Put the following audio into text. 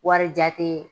Wari jate